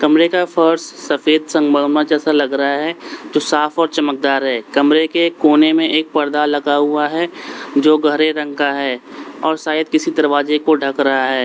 कमरे का फर्श सफेद संगमरमर जैसा लग रहा है जो साफ और चमकदार है कमरे के कोने में एक पर्दा लगा हुआ है जो गहरे रंग का है और शायद किसी दरवाजे को ढक रहा है।